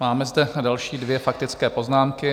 Máme zde další dvě faktické poznámky.